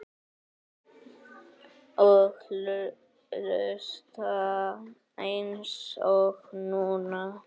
Og hlusta eins og núna.